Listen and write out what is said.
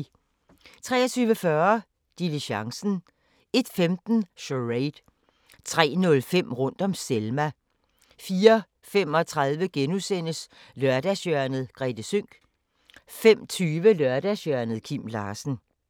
23:40: Diligencen 01:15: Charade 03:05: Rundt om Selma 04:35: Lørdagshjørnet - Grethe Sønck * 05:20: Lørdagshjørnet – Kim Larsen